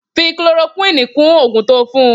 Fi chloroquini kún oògùn to fún